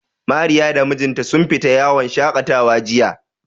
Mariya da mijinta sun fita yawon shaƙatawa jiya.